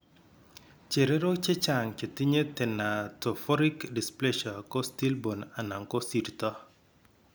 Chererok chechang chetinye thanatophoric dysplasia ko stillborn ana ko sirto